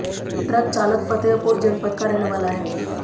truck चालक फ़तेहपुर जनपद का रहने वाला है